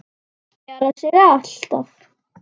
Það spjarar sig alltaf.